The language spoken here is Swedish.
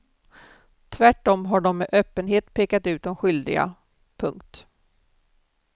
Tvärtom har de med öppenhet pekat ut de skyldiga. punkt